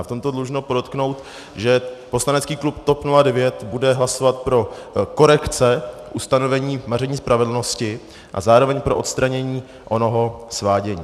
A v tomto dlužno podotknout, že poslanecký klub TOP 09 bude hlasovat pro korekce ustanovení maření spravedlnosti a zároveň pro odstranění onoho svádění.